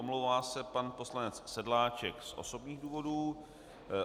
Omlouvá se pan poslanec Sedláček z osobních důvodů.